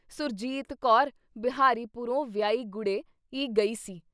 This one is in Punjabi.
“ਸੁਰਜੀਤ ਕੌਰ ਬਿਹਾਰੀ ਪੁਰੋਂ ਵਿਆਹੀ ਗੁੜ੍ਹੇ ਈ ਗਈ ਸੀ।